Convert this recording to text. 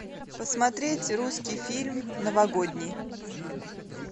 посмотреть русский фильм новогодний